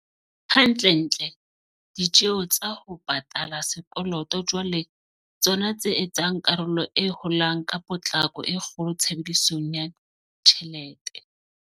Hantlentle, ditjeo tsa ho pa tala sekoloto jwale ke tsona tse etsang karolo e holang ka potlako e kgolo tshebedisong ya tjhelete.